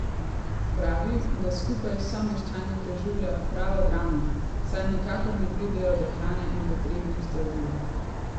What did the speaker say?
Pravi, da skupaj s someščani preživlja pravo dramo, saj nikakor ne pridejo do hrane in potrebnih zdravil.